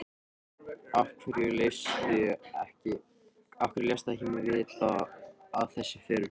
Af hverju léstu mig ekki vita af þessu fyrr?